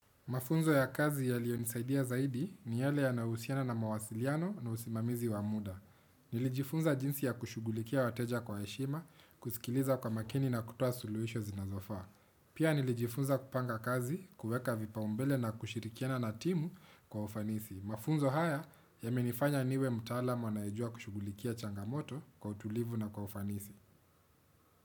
Mafunzo ya kazi yaliyonisaidia zaidi ni yale yanahusiana na mawasiliano na usimamizi wa muda. Nilijifunza jinsi ya kushughulikia wateja kwa heshima, kusikiliza kwa makini na kutua suluhisho zinazofaa. Pia nilijifunza kupanga kazi, kuweka vipaumbele na kushirikiana na timu kwa ufanisi. Mafunzo haya yamenifanya niwe mtaalamu anayejua kushughulikia changamoto kwa utulivu na kwa ufanisi.